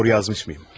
Doğru yazmışmıyım?